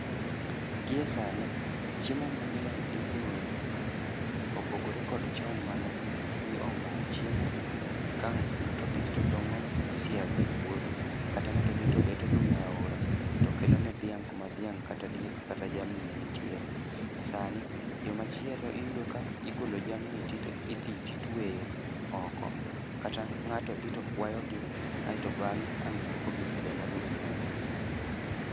Gie sani, chiemo mangény inyiewo e duka. Opogore kod chon mane iomo chiemo ka ngáto dhi to tongó osiaga e puodho, kata ngáto dhi to beto lum e aora, to kelo ne dhiang' kuma dhiang' kata diek, kata jamni ne nitiere. Sani yo machielo iyudo ka igolo jamni to idhi to itweyo oko, kata ngáto dhi to kwayo gi, ae to bangé ang' duoko gi dala godhiambo.